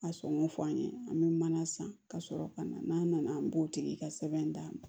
A sɔngɔ fɔ an ye an bɛ mana san ka sɔrɔ ka na n'a nana an b'o tigi ka sɛbɛn d'a ma